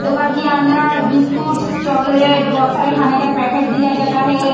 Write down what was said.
दुकान के अंदर बिस्कूट्स चॉक्लेट बहुत सारे खाने का पैकेट दिखाई जाता है।